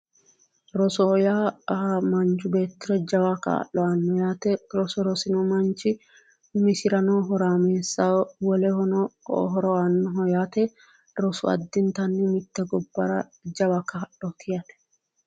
Rosoho yaa manchi beettira jawa kaa'lo aannoho yaate roso rosino manchi umisirano horaameessaho wolehono horo aannoho yaate rosu addintanni mitte gobbara jawa kaa'looti yaate